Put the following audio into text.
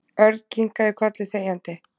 Örn kinkaði kolli þegjandi.